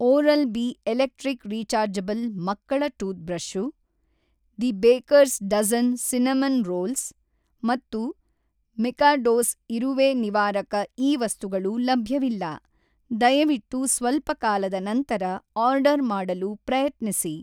Oral-B electric rechargeable ಮಕ್ಕಳ toothbrush, the Baker's Dozen cinnamon‍ rolls, ಮತ್ತು Mikados ಇರುವೆ ನಿವಾರಕ ಈ ವಸ್ತುಗಳು ಲಭ್ಯವಿಲ್ಲ, ದಯವಿಟ್ಟು ಸ್ವಲ್ಪ ಕಾಲದ ನಂತರ ಆರ್ಡರ್‌ ಮಾಡಲು ಪ್ರಯತ್ನಿಸಿ.